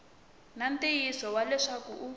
na ntiyiso wa leswaku u